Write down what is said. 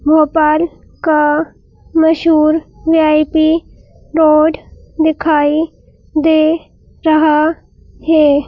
भोपाल का मशहूर VIP road दिखाई दे रहा है।